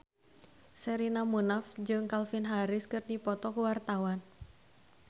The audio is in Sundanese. Sherina Munaf jeung Calvin Harris keur dipoto ku wartawan